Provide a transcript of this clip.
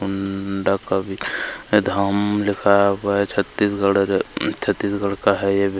आमम डाका वि धाम लिखा हुआ है छत्तीसगढ़ अ छत्तीसगढ़ का है ये --